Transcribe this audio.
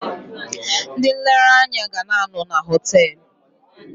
Ndị nlereanya ga na-anọ na họtelụ.